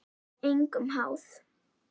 Engum háð.